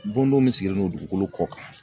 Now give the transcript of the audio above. Bondon min sigilen don dugukolo kɔ kan..